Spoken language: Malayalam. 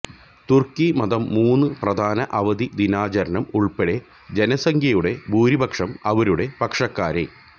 തുർക്കി മതം മൂന്ന് പ്രധാന അവധി ദിനാചരണം ഉൾപ്പെടെ ജനസംഖ്യയുടെ ഭൂരിപക്ഷം ആരുടെ പക്ഷക്കാരെ